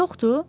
Yoxdur?